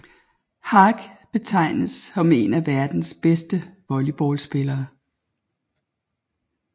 Haak regnes for en af verdens bedste volleyballspillere